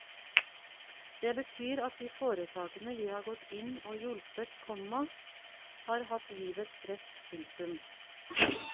Det betyr at de foretakene vi har gått inn og hjulpet, komma har hatt livets rett. punktum